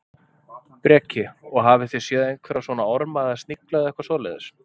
Breki: Og hafið þið séð einhverja svona orma eða snigla eða eitthvað svoleiðis?